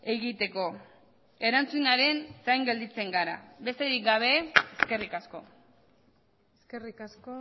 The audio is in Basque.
egiteko erantzunaren zain gelditzen gara besterik gabe eskerrik asko eskerrik asko